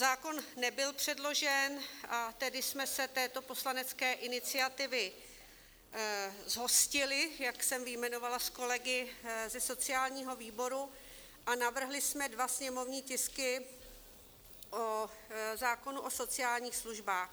Zákon nebyl předložen, a tedy jsme se této poslanecké iniciativy zhostili, jak jsem vyjmenovala, s kolegy ze sociálního výboru, a navrhli jsme dva sněmovní tisky o zákonu o sociálních službách.